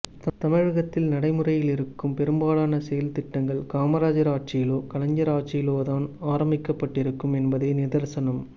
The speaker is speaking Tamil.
தமிழகத்தில் நடைமுறையிலிருக்கும் பெரும்பாலானசெயல்திட்டங்கள் காமராஜர் ஆட்சியிலோ கலைஞர் ஆட்சியிலோதான் ஆரம்பிக்கப்பட்டிருக்கும் என்பதே நிதர்சனம்